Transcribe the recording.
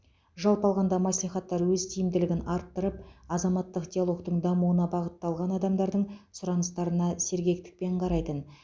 жалпы алғанда мәслихаттар өз тиімділігін арттырып азаматтық диалогтың дамуына бағытталған адамдардың сұраныстарына сергектікпен қарайтын